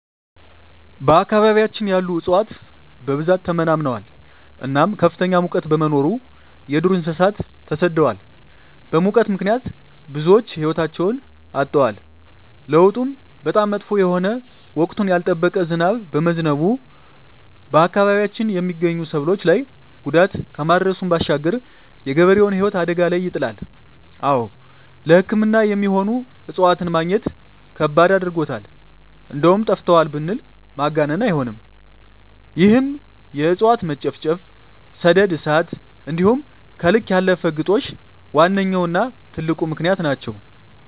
በአካባቢያችን ያሉ እፅዋት በብዛት ተመናምነዋል እናም ከፍተኛ ሙቀት በመኖሩ የዱር እንሰሳት ተሰደዋል በሙት ምክንያት ብዙወች ህይወታቸዉን አጠዋል። ለዉጡም በጣም መጥፎ የሆነ ወቅቱን ያልጠበቀ ዝናብ በመዝነቡ በአካባቢያችን የመገኙ ሰብሎች ላይ ጉዳት ከማድረሱም ባሻገር የገበሬዉን ህይወት አደጋ ላይ ይጥላል። አወ ለሕክምና የሚሆኑ እፅዋትን መግኘት ከባድ አድርጎታል እንደዉም ጠፍተዋል ብንል ማጋነን አይሆንም ይህም የእፅዋት መጨፍጨፍ፣ ሰደድ እሳት እንዲሆም ከልክ ያለፈ ግጦሽ ዋነኛዉና ትልቁ ምክንያት ናቸዉ።